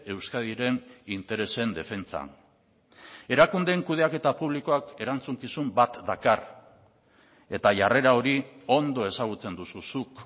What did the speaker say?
euskadiren interesen defentsan erakundeen kudeaketa publikoak erantzukizun bat dakar eta jarrera hori ondo ezagutzen duzu zuk